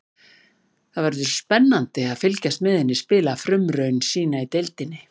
Það verður spennandi að fylgjast með henni spila frumraun sína í deildinni.